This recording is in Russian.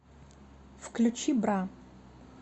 включи бра